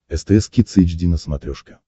стс кидс эйч ди на смотрешке